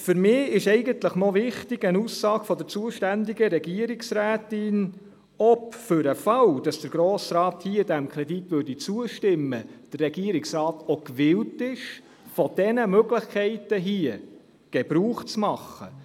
Für mich ist eine Aussage der zuständigen Regierungsrätin dazu wichtig, ob der Regierungsrat, für den Fall, dass der Grosse Rat diesem Kredit zustimmt, auch gewillt ist, von diesen Möglichkeiten Gebrauch zu machen.